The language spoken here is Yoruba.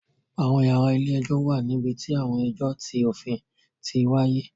Àwọn yàrá ilé-ẹjọ̀ wà níbi tí àwọn ẹjọ ti òfin ti wáyé